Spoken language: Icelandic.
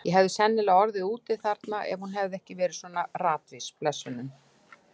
Ég hefði sennilega orðið úti þarna ef hún hefði ekki verið svona ratvís, blessunin.